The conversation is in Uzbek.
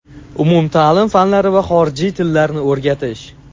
umumtaʼlim fanlari va xorijiy tillarni o‘rgatish;.